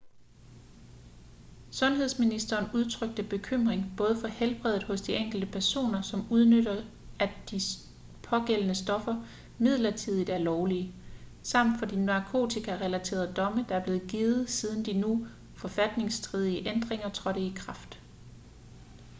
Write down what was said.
sundhedsministeren udtrykte bekymring både for helbreddet hos de enkelte personer som udnytter at de pågældende stoffer midlertidigt er lovlige samt for de narkotika-relaterede domme der er blevet givet siden de nu forfatningsstridige ændringer trådte i kraft